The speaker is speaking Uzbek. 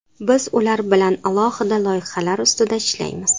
Biz ular bilan alohida loyihalar ustida ishlaymiz.